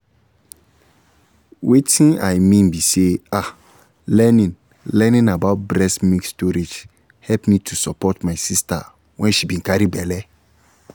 wetin i mean be say ah learning learning about breast milk storage help me to support my sister when she been carry belle